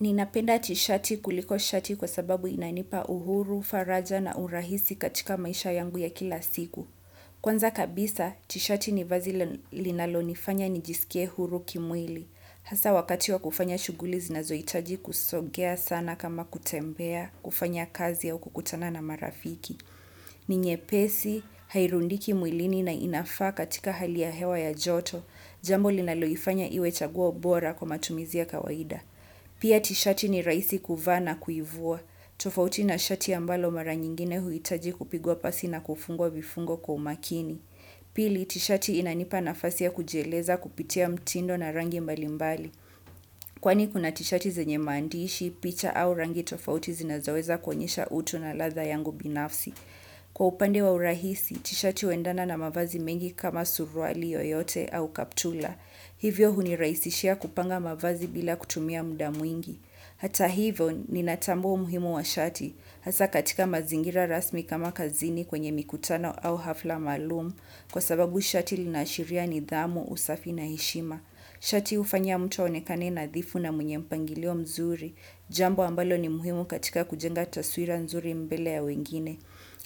Ninapenda tishati kuliko shati kwa sababu inanipa uhuru, faraja na urahisi katika maisha yangu ya kila siku. Kwanza kabisa, tishati ni vazi linalonifanya nijisikie huru kimwili. Hasa wakati wa kufanya shughuli zinazohitaji kusogea sana kama kutembea, kufanya kazi au kukutana na marafiki. Ni nyepesi, hairundiki mwilini na inafaa katika hali ya hewa ya joto, Jambo linaloifanya iwe chaguo bora kwa matumizi ya kawaida. Pia tishati ni rahisi kuvaa na kuivua. Tofauti na shati ambalo mara nyingine huhitaji kupigwa pasi na kufungwa vifungwa kwa umakini. Pili tishati inanipa nafasi ya kujieleza kupitia mtindo na rangi imbalimbali. Kwani kuna tishati zenye maandishi, picha au rangi tofauti zinaweza kuonyesha utu na ladha yangu binafsi. Kwa upande wa urahisi, tishati uendana na mafazi mengi kama suruali, yoyote, au kaptula. Hivyo hunirahisishia kupanga mavazi bila kutumia muda mwingi. Hata hivyo ninatambua umuhimu wa shati. Hasa katika mazingira rasmi kama kazini kwenye mikutano au hafla maalum. Kwa sababu shati linaashiria nidhamu, usafi na heshima. Shati hufanya mtu aonekane nadhifu na mwenye mpangilio mzuri. Jambo ambalo ni muhimu katika kujenga taswira nzuri mbele ya wengine.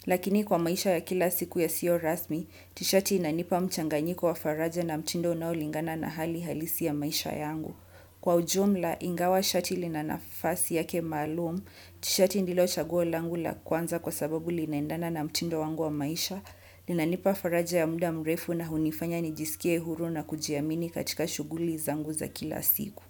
Lakini kwa maisha ya kila siku yasiyo rasmi, tishati inanipa mchanganyiko wa faraja na mtindo ulingana na hali halisi ya maisha yangu. Kwa ujumla ingawa shati lina nafasi yake maalum, tishati ndilo chaguo langu la kwanza kwa sababu linaendana na mtindo wangu wa maisha, linanipa faraja ya muda mrefu na hunifanya nijisikie huru na kujiamini katika shughuli zangu za kila siku.